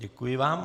Děkuji vám.